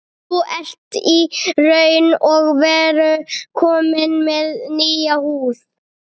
Þú ert í raun og veru kominn með nýja húð.